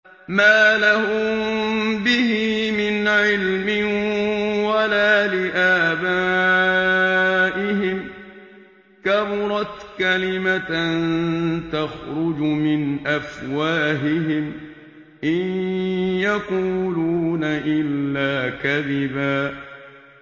مَّا لَهُم بِهِ مِنْ عِلْمٍ وَلَا لِآبَائِهِمْ ۚ كَبُرَتْ كَلِمَةً تَخْرُجُ مِنْ أَفْوَاهِهِمْ ۚ إِن يَقُولُونَ إِلَّا كَذِبًا